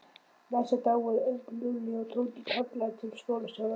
Næsta dag voru Örn, Lúlli og Tóti kallaðir til skólastjóra.